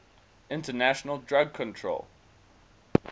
international drug control